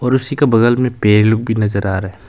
और उसी के बगल में पेड़ लोग भी नजर आ रहा है।